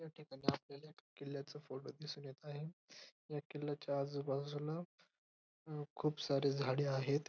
या ठिकाणी आपल्याला एका किल्ल्याचा फोटो दिसून येत आहे या किल्ल्याच्या आजूबाजूला अ खूप सारे झाडे आहेत.